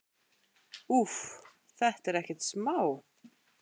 Úff, þetta er ekkert smá.